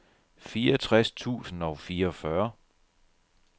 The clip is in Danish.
fireogtres tusind og fireogfyrre